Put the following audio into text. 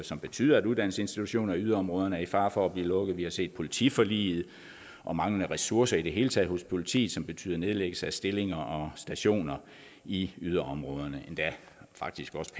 som betyder at uddannelsesinstitutioner i yderområderne er i fare for at blive lukket vi har set politiforliget om manglende ressourcer i det hele taget hos politiet som har betydet nedlæggelse af stillinger og stationer i yderområderne endda faktisk også